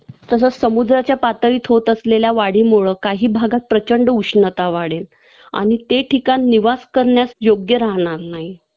तसंच समुद्राच्या पातळीत होत असलेल्या वाढीमुळं काही भागट प्रचंड उष्णता वाढेल आणि ते ठिकाण निवास करण्यास योग्य राहणार नाही